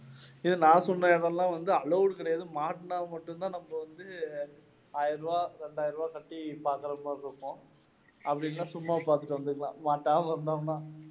இது நான் சொன்ன இடமெல்லாம் வந்து allowed கிடையாது மாட்டினா மட்டும் தான் நம்ப வந்து ஆயிரம் ரூபாய், ரெண்டாயிரம் ரூபாய் கட்டி பார்க்கிறது மாதிரி இருக்கும். அப்படி இல்லைனா சும்மா பாத்துட்டு வந்திடலாம் மாட்டாம இருந்தோம்னா